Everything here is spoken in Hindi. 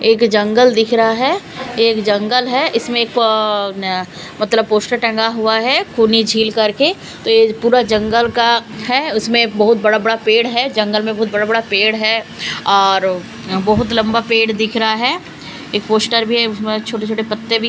एक जंगल दिख रहा है ये एक जंगल है इसमें एक मतलब पोस्टर टंगा हुआ है खूनी झील करके तो ये पूरा जंगल का है उसमें बहुत बड़ा-बड़ा पेड़ है जंगल में बहुत बड़ा-बड़ा पेड़ है और बहुत लंबा पेड़ दिख रहा है एक पोस्टर भी है उसमें छोटे-छोटे पत्ते भी--